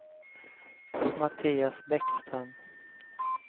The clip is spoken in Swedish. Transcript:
Mattias Bäckström